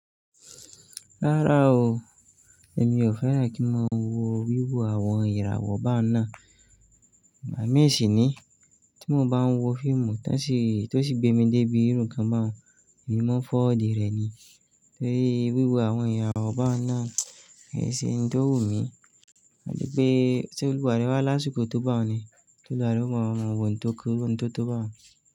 Rárá o, èmi ò fẹ́ràn kí n máa wo wíwo àwọn ìràwọ̀ bá na. Ìgbà mi sì ni tí mo bá ń wo fíìmù tan sì, tó sì gbé mi dé ibi irun kan báa n, èmi máa forward rẹ̀ ni. Torí wíwo àwọn irawọ́ bá na, kì í ṣe ohun tó wù mí. À tí pé tí oluwa re wá lásìkò tó bá hun ni, toluwa re o máa mọ ohun tó kéré, ohun tó tó bá hun.